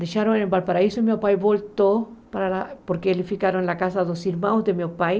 Deixaram em Valparaíso e meu pai voltou, para porque eles ficaram na casa dos irmãos de meu pai.